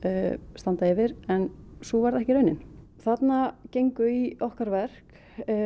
standa yfir en svo var ekki raunin þarna gengu í okkar verk